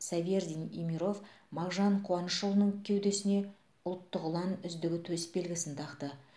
савердин имиров мағжан қуанышұлының кеудесіне ұлттық ұлан үздігі төсбелгісін тақты